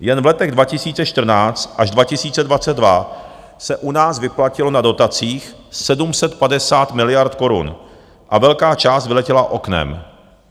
Jen v letech 2014 až 2022 se u nás vyplatilo na dotacích 750 miliard korun a velká část vyletěla oknem.